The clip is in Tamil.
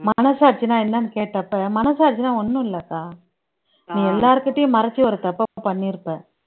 மனசாட்சின்னா என்னன்னு கேட்டப்ப மனசாட்சின்னா ஒண்ணும் இல்லக்கா நீ எல்லார்கிட்டயும் மறைச்சு ஒரு தப்பை பண்ணியிருப்ப